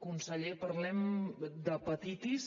conseller parlem d’hepatitis